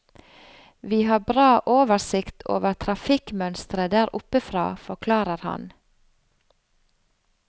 Vi har bra oversikt over trafikkmønsteret der oppe fra, forklarer han.